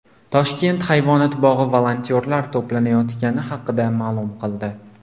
Toshkent hayvonot bog‘i volontyorlar to‘planayotgani haqida ma’lum qildi.